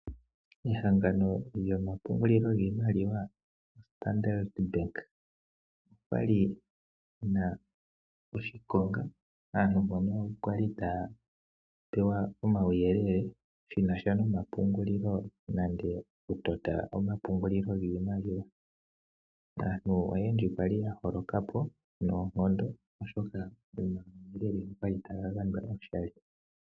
Ehangano lyokupungula iimaliwa lyoStandard bank otali hiya oshikonga aantu mpono yali tayabpewa uuyelele shinasha nankene aantu yena okutota omapungulilo giimaliwa. Aantu oyendji yali yaholoka po oshoka uuyelele owali tawu gandjwa oshali.